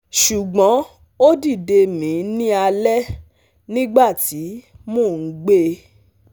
ṣugbọn o dide mi ni alẹ nigbati mo n gbe